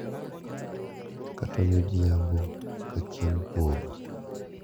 Kata midhiambo ka chieng` podho.